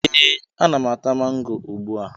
Ee, ana m ata mango ugbua